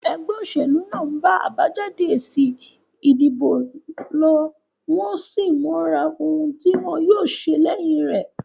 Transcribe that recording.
Egbé òsèlú náà n ba àbájáde èsì ìdìbò lo, wón sín móra oun tí wón yío se léyin rè